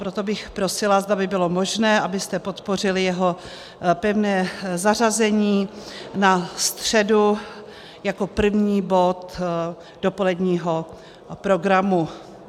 Proto bych prosila, zda by bylo možné, abyste podpořili jeho pevné zařazení na středu jako první bod dopoledního programu.